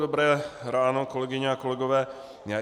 Dobré ráno, kolegyně a kolegové.